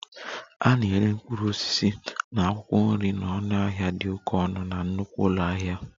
A na-ere mkpụrụ osisi na akwụkwọ nri na ọnụahịa dị oke ọnụ na nnukwu ụlọ ahịa